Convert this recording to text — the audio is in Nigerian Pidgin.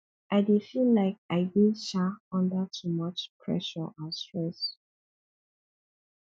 i dey feel like i dey um under too much pressure and stress